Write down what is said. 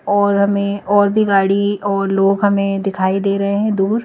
और हमें और भी गाड़ी और लोग हमें दिखाई दे रहे हैं दूर--